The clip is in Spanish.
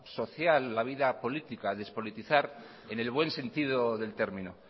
social la vida política despolitizar en el buen sentido del término